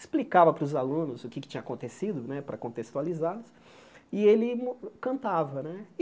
Explicava para os alunos o que é que tinha acontecido, para contextualizá-los, e ele mu cantava né.